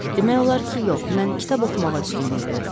Demək olar ki, yox, mən kitab oxumağa üstünlük verirəm.